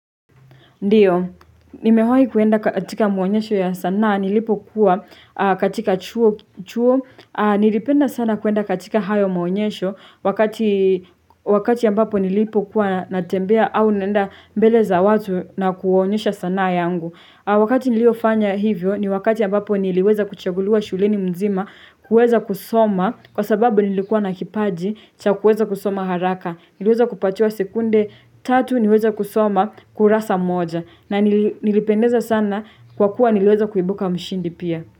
Ndiyo, nimewai kuenda katika maonyesho ya sanaa, nilipo kuwa katika chuo, nilipenda sana kuenda katika hayo maonyesho, wakati ambapo nilipo kuwa natembea au naenda mbele za watu na kuonyesha sanaa yangu. Wakati niliofanya hivyo ni wakati ambapo niliweza kuchaguliwa shuleni mzima kuweza kusoma kwa sababu nilikuwa nakipaji cha kuweza kusoma haraka. Niliweza kupatiwa sekunde tatu niweze kusoma kurasa moja. Na nilipendeza sana kwa kuwa niliweza kuibuka mshindi pia.